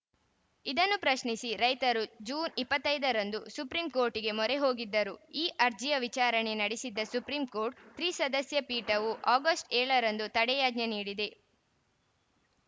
ಇದನ್ನು ಪ್ರಶ್ನಿಸಿ ರೈತರು ಜೂನ್ ಇಪ್ಪತ್ತ್ ಐದರಂದು ಸುಪ್ರೀಂ ಕೋರ್ಟ್‌ಗೆ ಮೊರೆ ಹೋಗಿದ್ದರು ಈ ಅರ್ಜಿಯ ವಿಚಾರಣೆ ನಡೆಸಿದ್ದ ಸುಪ್ರೀಂ ಕೋರ್ಟ್‌ ತ್ರಿಸದಸ್ಯ ಪೀಠವು ಆಗಸ್ಟ್ ಏಳರಂದು ತಡೆಯಾಜ್ಞೆ ನೀಡಿದೆ